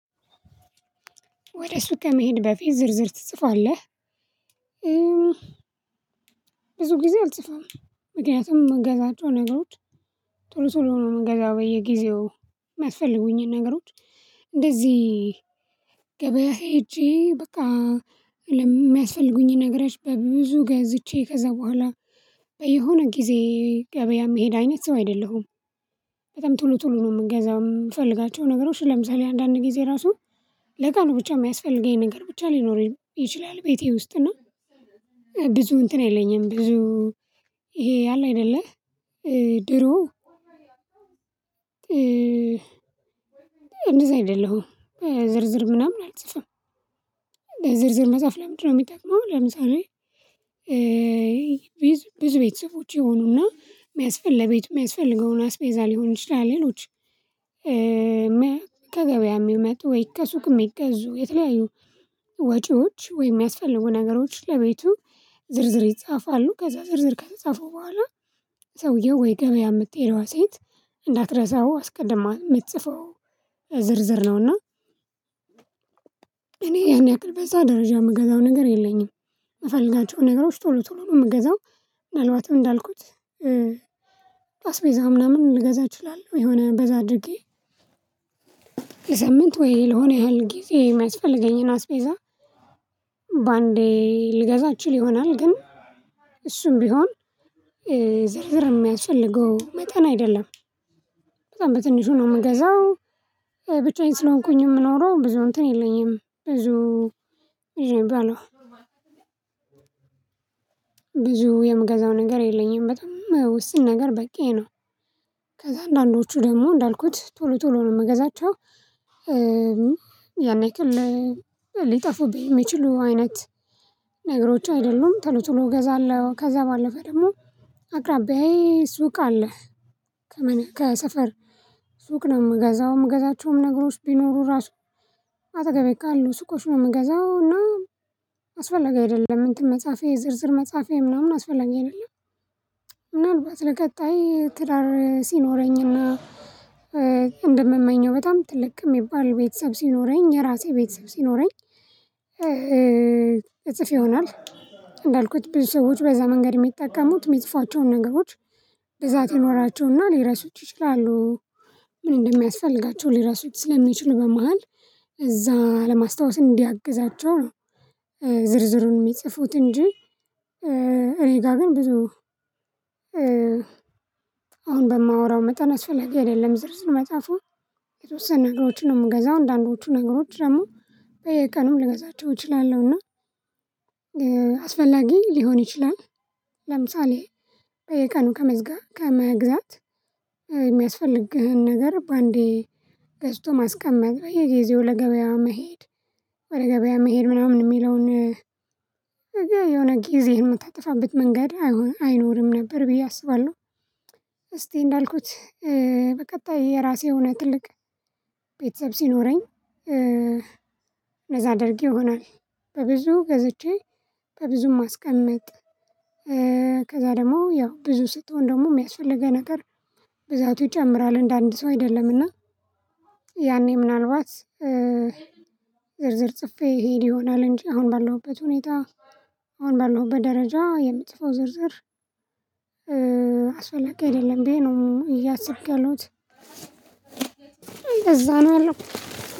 ወደ ሱቅ ከመሄድህ በፊት ዝርዝር ትጽፋለህ? ብዙ ጊዜ አልጽፍም። ምክንያቱም ምገዛቸው ነገሮች ቶሎ ቶሎ ነው ምጋዛው በየጊዜው ሚያስፈልጉኝን ነገሮች። እንደዚህ ገበያ ሄጄ በቃ። ነገሮች በብዙ ገዝቼ ከዛ በኋላ በየሆነ ጊዜ ገበያ የምሄድ አይነት ሰው አይደለሁም። በጣም ቶሎ ቶሎ ነው የምገዛው የምፈልጋቸው ነገሮች ለምሳሌ አንዳንድ ጊዜ ራሱ ለቀኑ ብቻ የሚያስፈልገኝ ነገር ብቻ ሊኖረኝ ይችላል። ቤቴ ውስጥ እና ብዙ እንትን የለኝም። ብዙ ይሄ አለ አይደለ። ድሮ እንደዛ አይደለሁም። ዝርዝር ምናምን አልጽፍም። ዝርዝር መጻፍ ለምንድነው ምጠቅመው? ለምሳሌ ብዙ ቤተሰቦች ይሆኑና የሚያስፈልገው ለቤት የሚያስፈልገውን አስቤዛ ሊሆን ይችላል። ሌሎች ከገበያ የሚመጡ ወይ ከሱቅ የሚገዙ የተለያዩ ወጪዎች ወይም የሚያስፈልጉ ነገሮች ለቤቱ ዝርዝር ይጻፋሉ ከዛ ዝርዝር ከተጻፉ በኋላ ሰውየው ወይ ገበያ የምትሄደዋ ሴት እንዳትረሳው አስቀድማ የምትጽፈው ዝርዝር ነውና። እኔ ይሄን ያክል በዛ ደረጃ የምገዛው ነገር የለኝም። የምፈልጋቸው ነገሮች ቶሎ ቶሎ ነው የምገዛው። ምናልባትም እንዳልኩት አስቤዛው ምናምን ልገዛ እችላለሁ የሆነ በዛ አድርጌ ለሳምንት ወይ ለሆነ ያህል ጊዜ የሚያስፈልገኝን አስቤዛ። በአንዴ ሊገዛ እችል ይሆናል ግን እሱም ቢሆን ዝርዝር የሚያስፈልገው መጠን አይደለም። በጣም በትንሹ ነው የምገዛው። ብቻዬን ስለሆንኩኝ የምኖረው ብዙ እንትን የለኝም ብዙ ይዤብሃለሁ ብዙ የምገዛው ነገር የለኝም በጣም ውስን ነገር በቂዬ ነው። ከዛ አንዳንዶቹ ደግሞ እንዳልኩት ቶሎ ቶሎ ነው የምገዛቸው። ያን ያክል ሊጠፉብኝ የሚችሉ አይነት ነገሮች አይደሉም ቶሎ ቶሎ እገዛለሁ። ከዛ ባለፈ ደግሞ አቅራብያዬ ሱቅ አለ። ከሰፈር ሱቅ ነው የምገዛው የምገዛቸውም ነገሮች ቢኖሩ ራሱ አጠገቤ ካሉ ሱቆች ነው የምገዛው እና። አስፈለጊ አይደለም እንትን መፃፊያ የዝርዝር መፃፌ ምናምን አስፈላጊ አይደለም። ምናልባት ለቀጣይ ትዳር ሲኖረኝና እንደምመኘው በጣም ትልቅ የሚባል ቤተሰብ ሲኖረኝ የራሴ ቤተሰብ ሲኖረኝ እጽፍ ይሆናል። እንዳልኩት ብዙ ሰዎች በዛ መንገድ የሚጠቀሙት የሚጽፏቸውን ነገሮች ብዛት ይኖራቸውና ሊረሱት ይችላሉ። ምን እንደሚያስፈልጋቸው ሊረሱት ስለሚችሉ በመሃል እዛ ለማስታወስ እንዲያግዛቸው ነው። ዝርዝሩን የሚጽፉት እንጂ። እኔ ጋር ግን ብዙ አሁን በማወራው መጠን አስፈላጊ አይደለም። ዝርዝር መፃፉ የተወሰነ ነገሮችን ነው የምገዛው። አንዳንዶቹ ነገሮች ደግሞ በየቀኑ ልገዛቸው እችላለሁና አስፈላጊ ሊሆን ይችላል። ለምሳሌ በየቀኑ ከመዝጋት ከመግዛት የሚያስፈልግህን ነገር በአንዴ ገዝቶ ማስቀመጥ በየጊዜው ለገበያ መሄድ ወደ ገበያ መሄድ ምናምን የሚለውን የሆነ ጊዜህን የምታጠፋበት መንገድ አይኖርም ነበር ብዬ አስባለሁ። እስቲ እንዳልኩት በቀጣይ የራሴ የሆነ ትልቅ ቤተሰብ ሲኖረኝ አደርግ ይሆናል። በብዙ ገዝቼ በብዙ ማስቀምጥ ከዛ ደግሞ ያው ብዙ ስትሆን ደግሞ የሚያስፈልግህ ነገር ብዛቱ ይጨምራል እንደ አንድ ሰው አይደለምና። ያኔ ምናልባት ዝርዝር ጽፌ ይሄድ ይሆናል። እንጂ አሁን ባለሁበት ሁኔታ አሁን ባለሁበት ደረጃ የምጽፈው ዝርዝር አስፈላጊ አይደለም ብዬ ነው እያሰብኩ ያለሁት። እንደዛ ነው ያለው።